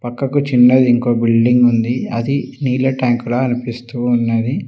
పక్కకు చిన్నది ఇంకో బిల్డింగ్ ఉంది అది నీళ్ల ట్యాంక్ లా అనిపిస్తూ ఉన్నది.